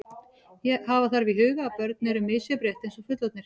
Hafa þarf í huga að börn eru misjöfn rétt eins og fullorðnir.